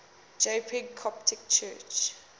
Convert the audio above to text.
jpg coptic church